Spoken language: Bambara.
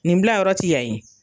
Nin bilayɔrɔ ti yan ye.